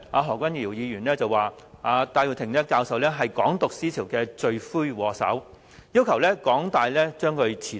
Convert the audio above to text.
何君堯議員當時指戴耀廷教授是"港獨"思潮的罪魁禍首，要求港大把戴教授辭退。